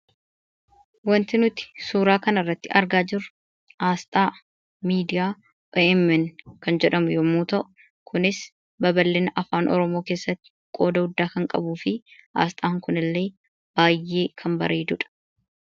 Wanti nuti suuraa kana irratti argaa jirru kun Asxaa miidiyaa 'OMN' kan jedhamuu yomuu ta'u, kunis babal'inaa fi guddinnaa afaan Oromoo keessatti qooda guddaa kan qabufi Asxaan kun illee baay'ee kan bareedudha.